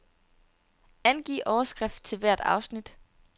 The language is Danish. Angiv overskrift til hvert afsnit.